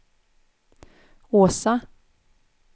Åsa